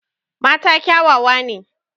Mata kyawawa ne.